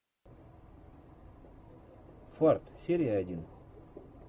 фарт серия один